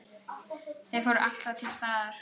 Þau voru alltaf til staðar.